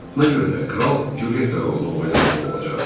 Buna görə də kral Cülyetta rolunu oynamalı olacaqdı.